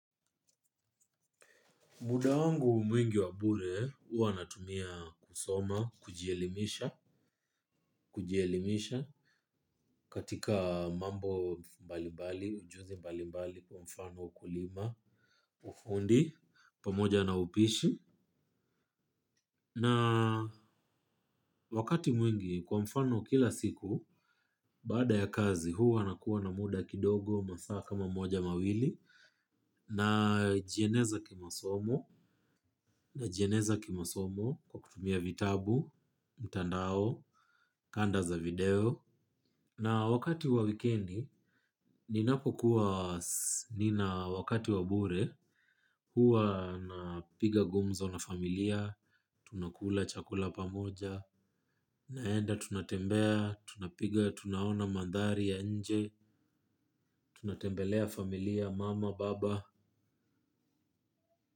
Muda wangu mwingi wa bure huwa natumia kusoma, kujielimisha, kujielimisha katika mambo mbali mbali, ujuzi mbali mbali kwa mfano ukulima, ufundi, pamoja na upishi. Na wakati mwingi kwa mfano kila siku, baada ya kazi huwa na kuwa na muda kidogo masaa kama moja mawili, na jieneza kimasomo, najieneza kimasomo kwa kutumia vitabu, mtandao, kanda za video. Na wakati wa wikendi, ninapo kuwa nina wakati wa bure, huwa napiga gumzo na familia, tunakula chakula pamoja, naenda tunatembea, tunapiga, tunaona mandhari ya nje, tunatembelea familia, mama, baba.